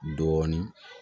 Dɔɔnin